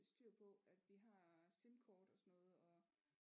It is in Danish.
Styr på at vi har simkort og sådan noget og